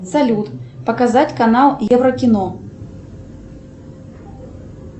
салют показать канал еврокино